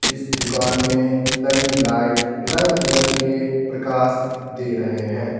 इस दुकान में लगी लाइट रंग बिरंगे के प्रकाश दे रहे हैं।